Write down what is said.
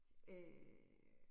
Øh